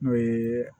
N'o ye